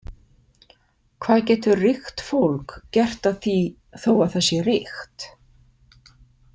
Hvað getur ríkt fólk gert að því þó að það sé ríkt?